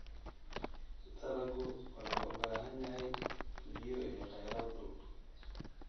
Dalaggu wuxuu u baahan yahay biyo iyo kheyraad dhul.